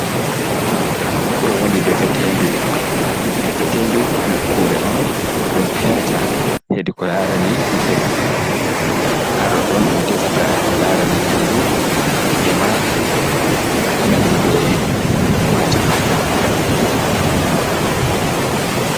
Ɗo woni Defetendu. Defetendu nokkure'on ɗum herta hedi ko larani ndefu. haɗodɗon ɗum Defata ko larani Nyamdu ema ko nandi be Majum.